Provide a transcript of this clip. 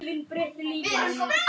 Allt urðu þetta vinir þeirra.